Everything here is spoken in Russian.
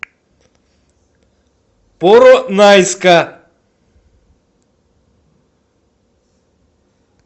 поронайска